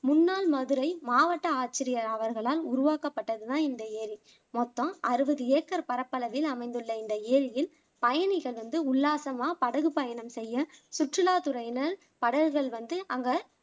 முன்னால் மதுரை மாவட்ட ஆட்சியர் அவர்களால் உருவாக்கப்பட்டது தான் இந்த ஏரி மொத்தம் அறுபது ஏக்கர் பரப்பளவில் அமைந்துள்ள இந்த ஏரியில் பயணிகள் வந்து உள்ளாசமா படகு பயணம் செய்ய சுற்றுலா துறையினர் படகுகள் வந்து அங்க